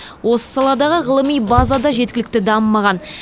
осы саладағы ғылыми база да жеткілікті дамымаған